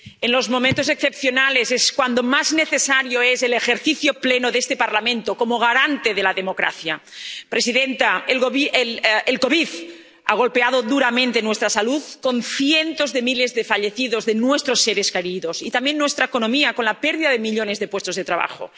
Señora presidenta, en los momentos excepcionales es cuando más necesario es el ejercicio pleno de este Parlamento como garante de la democracia. Señora presidenta, el COVID ha golpeado duramente nuestra salud, con cientos de miles de fallecidos entre nuestros seres queridos, y también nuestra economía, con la pérdida de millones de puestos de trabajo.